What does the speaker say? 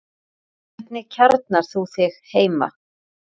Hvernig kjarnar þú þig heima?